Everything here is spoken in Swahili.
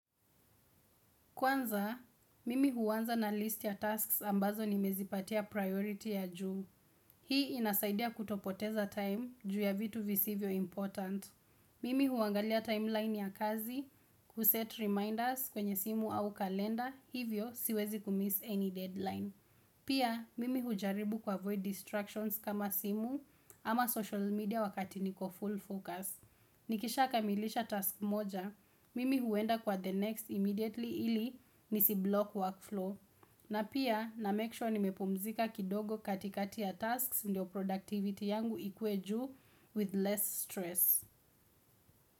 Kwanza, mimi huanza na list ya tasks ambazo nimezipatia priority ya juu. Hii inasaidia kutopoteza time juu ya vitu visivyo important. Mimi huangalia timeline ya kazi, ku set reminders kwenye simu au kalenda, hivyo siwezi ku miss any deadline. Pia, mimi hujaribu ku avoid distractions kama simu ama social media wakati niko full focus. Nikisha kamilisha task moja, mimi huenda kwa the next immediately ili nisiblock workflow. Na pia na make sure nimepumzika kidogo katikati ya tasks ndio productivity yangu ikue juu with less stress.